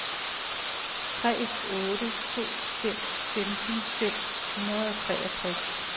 tre otte to fem femten fem hundrede og treogtres